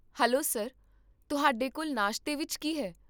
Hello sir, ਤੁਹਾਡੇ ਕੋਲ ਨਾਸ਼ਤੇ ਵਿੱਚ ਕੀ ਹੈ?